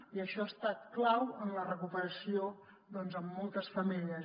i això ha estat clau en la recuperació doncs en moltes famílies